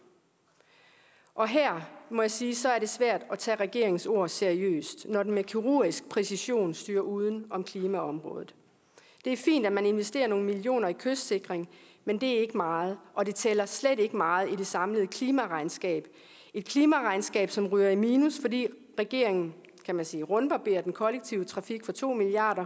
og her må jeg sige at så er det svært at tage regeringens ord seriøst når den med kirurgisk præcision styrer uden om klimaområdet det er fint at man investerer nogle millioner i kystsikring men det er ikke meget og det tæller slet ikke meget i det samlede klimaregnskab et klimaregnskab som ryger i minus fordi regeringen kan man sige rundbarberer den kollektive trafik for to milliard